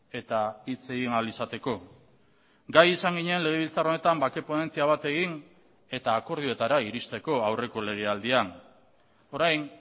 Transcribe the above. eta hitz egin ahal izateko gai izan ginen legebiltzar honetan bake ponentzia bat egin eta akordioetara iristeko aurreko legealdian orain